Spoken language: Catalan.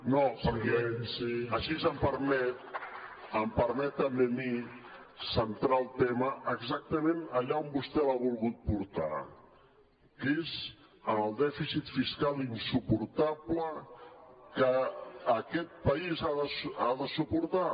no perquè així em permet també a mi centrar el tema exactament allà on vostè l’ha volgut portar que és en el dèficit fiscal insuportable que aquest país ha de suportar